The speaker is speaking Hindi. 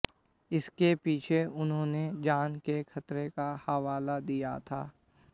इसके पीछे उन्होंने जान के खतरे का हवाला दिया था